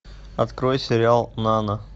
открой сериал нана